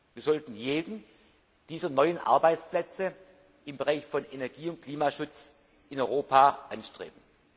Wir sollten jeden dieser neuen Arbeitsplätze im Bereich Energie und Klimaschutz in Europa anstreben.